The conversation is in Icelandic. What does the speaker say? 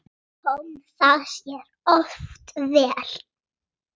Sjáumst að ári.